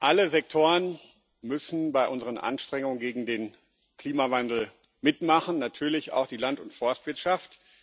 Alle Sektoren müssen bei unseren Anstrengungen gegen den Klimawandel mitmachen, natürlich auch die Land und Forstwirtschaft.